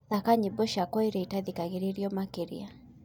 thaka nyĩmbo cĩakwa ĩrĩa itathikagiririo makĩrĩa